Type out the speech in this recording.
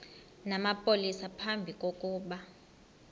namapolisa phambi kokuba